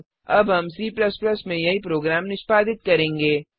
अब हम C में यही प्रोग्राम निष्पादित करेंगे